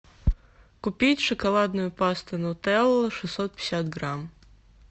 купить шоколадную пасту нутелла шестьсот пятьдесят грамм